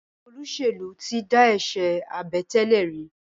Àwọn olóṣèlú tí dá eṣe Àbẹ̀tẹ́lẹ̀ rí.